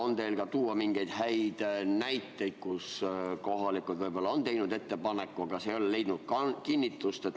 On teil tuua mingeid häid näiteid, kui kohalikud võib-olla on teinud ettepaneku, aga see ei ole leidnud kinnitust?